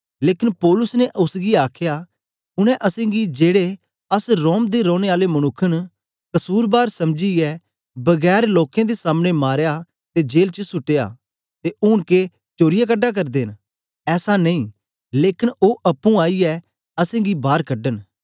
लेकन पौलुस ने ओसगी आखया उनै असेंगी जेड़े अस रोम दे रौने आले मनुक्ख न कसुरबार समझीयै बगैर लोकें दे सामने मारया ते जेल च सुट्टया ते ऊन के चोरीयै कढा करदे न ऐसा नेई लेकन ओ अप्पुं आईयै असेंगी बार कढन